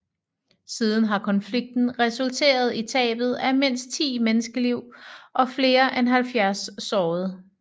Siden har konflikten resulteret i tabet af mindst 10 menneskeliv og flere end 70 sårede